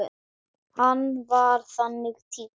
Hann var þannig týpa.